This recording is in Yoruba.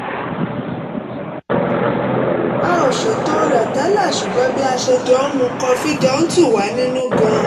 a ò ṣètò rẹ̀ tẹ́lẹ̀ ṣùgbọ́n bí a ṣe jọ ń mu kọfí jọ ń tù wá nínú gan-an